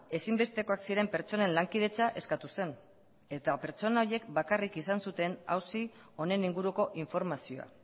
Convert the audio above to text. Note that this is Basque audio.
ezinbestekoak ziren pertsonen lankidetza eskatu zen eta pertsona horiek bakarrik izan zuten auzi honen inguruko informazioa